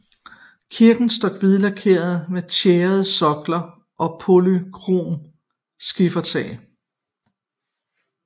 Kirken står hvidkalket med tjæret sokkel og polykromt skifertag